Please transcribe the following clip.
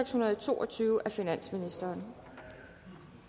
hundrede og to og tyve af finansministeren